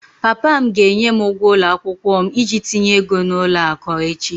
Papa m ga-enye m ụgwọ ụlọ akwụkwọ m iji tinye ego n'ụlọ akụ echi